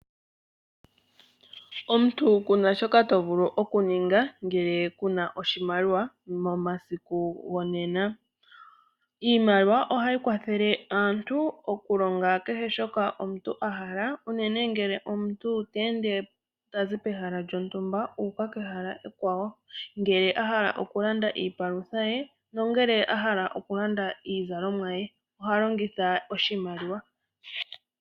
Omuntu kuna shoka to vulu okuninga ngele kuna oshimaliwa momasiku gonena. Iimaliwa ohayi kwathele aantu oku longa kehe shoka omuntu a hala, unene ngele omuntu ta ende tazi pehala lyontumba uuka kehala ekwawo, ngele a hala oku landa iipalutha ye nongele a hala oku landa iizalomwa ye, oha longitha oshimaliwa.